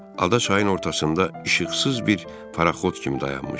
Ada çayın ortasında işıqsız bir paraxot kimi dayanmışdı.